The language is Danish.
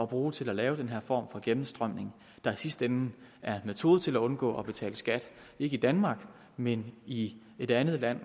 bruge til at lave den her form for gennemstrømning der i sidste ende er en metode til at undgå at betale skat ikke i danmark men i et andet land